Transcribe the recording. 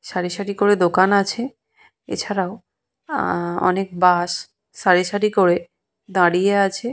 সারি সারি করে দোকান আছে এছাড়াও আহ অনেক বাস সারি সারি করে দাঁড়িয়ে আছে।